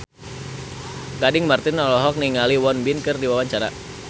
Gading Marten olohok ningali Won Bin keur diwawancara